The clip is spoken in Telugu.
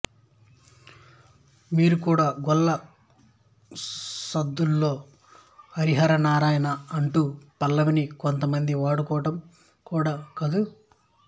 వీరు కూడా గొల్ల సుద్దుల్లో హరి హరి నారాయణా ఆ అంటూ పల్లవిని కొంత మంది వాడుకోవటం కూడా కద్దు